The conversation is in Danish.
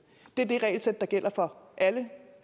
det er det regelsæt der gælder for alle